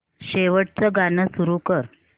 शेवटचं गाणं सुरू कर